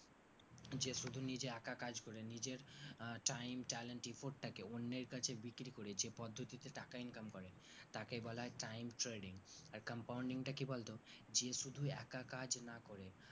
যে শুধু নিজে একা কাজ করে নিজের আহ time talent effort টাকাকেও অন্যের কাছে বিক্রি করে যে পদ্ধতিতে টাকা income করে তাকেই বলা হয় time trading আর compounding টা কি বলতো যে শুধু একা কাজ না করে